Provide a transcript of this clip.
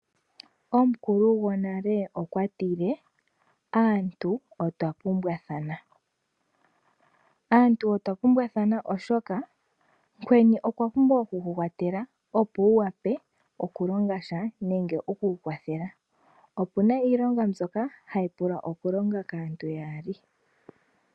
Omukulu gonale okwa tile aantu otwa pumbwathana. Oshoka omuntu omukweni okwa pumbwa oku ku kwathela opo wu vule oku longasha. Opuna iilonga mbyoka hayi pula oku longwa kaantu yaali.